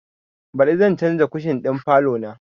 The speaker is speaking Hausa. Baɗi zan canza kushin ɗin falo na